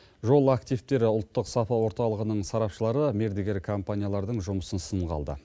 жол активтер ұлттық сапа орталығының сарапшылары мердігер компаниялардың жұмысын сынға алды